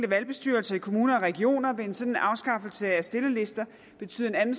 valgbestyrelser i kommuner og regioner vil en sådan afskaffelse af stillerlister betyde en